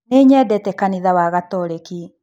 Nĩ nyendete kanitha wa Gatoreki